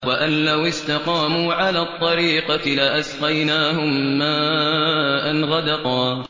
وَأَن لَّوِ اسْتَقَامُوا عَلَى الطَّرِيقَةِ لَأَسْقَيْنَاهُم مَّاءً غَدَقًا